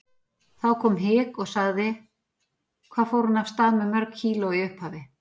Þá kom hik og sagði: Hvað fór hún af stað með mörg kíló í upphafi?